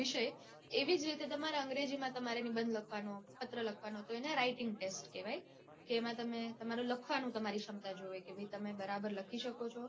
વિષય એવી જ રીતે તમારે અંગ્રેજી માં તમારે નિબંધ લખવાનો પત્ર લખવાનો તો એને writing test કેવાય. કે એમાં તમારી લખવાની તમારી ક્ષમતા જોવે કે ભાઈ તમે બરાબર લખી શકો છો